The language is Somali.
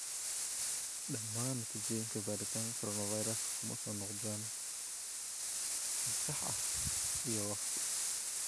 Dhammaan natiijooyinka baaritaanka coronavirus kuma soo noqdaan si sax ah iyo waqti.